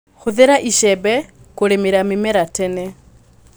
Hũthĩra icembe kũrĩmĩra mĩmera tene.